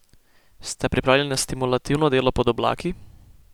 Ste pripravljeni na stimulativno delo pod oblaki?